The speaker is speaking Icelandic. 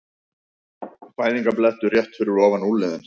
Fæðingarblettur rétt fyrir ofan úlnliðinn.